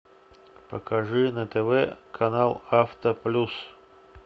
покажи на тв канал авто плюс